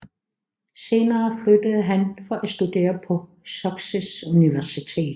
Senere flyttede han for at studere på Sussex Universitet